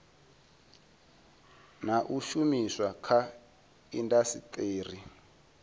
na u shumiswa kha indasiteri